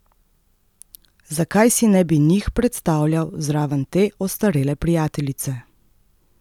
Zakaj si ne bi njih predstavljal zraven te ostarele prijateljice?